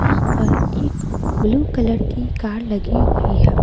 यहां पर एक ब्लू कलर की कार लगी हुई है।